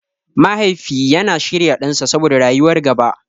Mahaifi yana shirya ɗansa saboda rayuwar gaba.